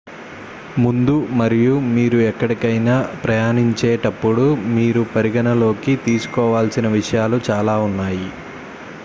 ముందు మరియు మీరు ఎక్కడికైనా ప్రయాణించేటప్పుడు మీరు పరిగణనలోకి తీసుకోవలసిన విషయాలు చాలా ఉన్నాయి